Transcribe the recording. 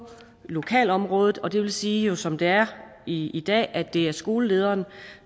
lokalområdet og det vil sige at som det er i i dag er det jo skolelederen